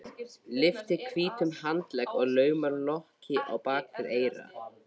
Lyftir hvítum handlegg og laumar lokki á bak við eyra.